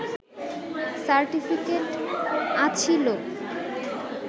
certificate আছিলো